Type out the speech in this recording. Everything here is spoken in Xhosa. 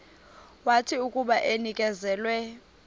wathi akuba enikezelwe